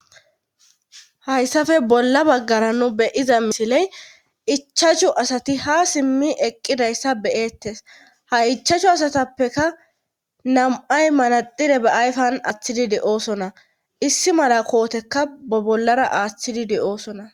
Hayssafe bolla baggara nu beyiza misiley ichachu asati ha simmi eqqidayssa beyettes ha ichachu asatappeka nam7ay manadire ba ayfan aththidi de7oosona issi mala kootekka ba bollara aaththidi de7oosona